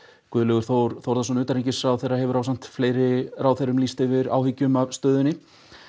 Guðlaugur Þór Þórðarson utanríkisráðherra hefur ásamt fleiri ráðherrum lýst yfir miklum áhyggjum af stöðunni